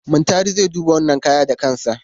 Muntari zai duba wannan kaya da kansa.